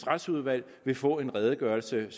retsudvalg vil få en redegørelse